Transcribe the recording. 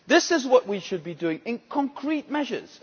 This is what we should be doing, in concrete measures.